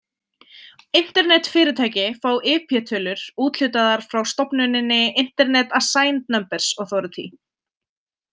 Internetfyrirtæki fá IP-tölur úthlutaðar frá stofnuninni Internet Assigned Numbers Authority.